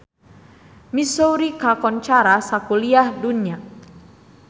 Missouri kakoncara sakuliah dunya